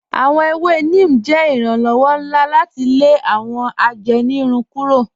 Awọn èwè Neem jẹ iranlọwọ̀ nlá láti lè awọn àjẹ́nìrùn kúrò.